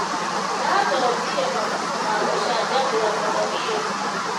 Ndĩramathomire mabuku ma gũcanjamũre mũno iyo.